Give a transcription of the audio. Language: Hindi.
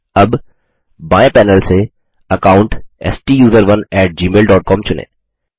अब बाएँ पैनल से अकाउंट STUSERONEgmail डॉट कॉम चुनें